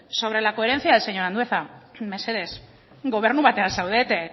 sobre la coherencia señor andueza mesedez gobernu batean zaudete